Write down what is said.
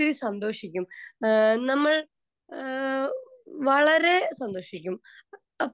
speaker 2 വളരെ സന്തോഷിക്കും അഹ് നമ്മൾ അഹ് വളരെ സന്തോഷിക്കും